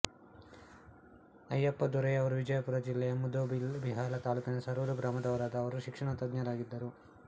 ಅಯ್ಯಪ್ಪ ದೊರೆಯವರು ವಿಜಯಪುರ ಜಿಲ್ಲೆಯ ಮುದ್ದೇಬಿಹಾಳ ತಾಲೂಕಿನ ಸರೂರ ಗ್ರಾಮದವರಾದ ಅವರು ಶಿಕ್ಷಣ ತಜ್ಞರಾಗಿದ್ದರು